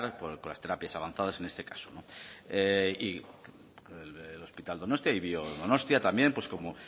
car con las terapias avanzadas en este caso no y el hospital donostia y biodonostia también como